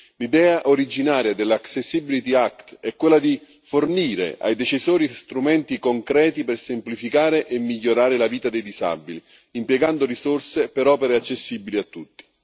L'idea originaria dell' accessibility act è quella di fornire ai decisori strumenti concreti per semplificare e migliorare la vita dei disabili, impiegando risorse per opere accessibili a tutti.